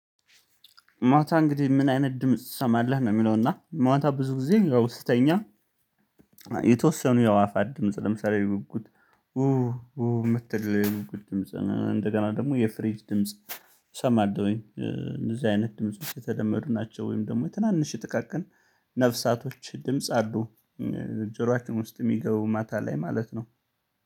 ማታ እንግዲህ ምን አይነት ድምጽ ትሰማለህ ነው የሚለው? እና ማታ ብዙ ጊዜ ስተኛ። የተወሰኑ የአዋፋ ድምጽ ለምሳሌ ውጉት። ውህ ውህ የምትል ውጉት ድምጽ እንደገና ደግሞ የፍሬጅ ድምጽ እሰማለሁ። እንደዚህ አይነት ድምጽ ውስጥ የተለመዱ ናቸው። ወይም ደግሞ የትናንሽ ጥቃቅን ነፍሳቶች ድምጽ አዱ። ጆሮአችን ውስጥ የሚገቡ ማታ ላይ ማለት ነው።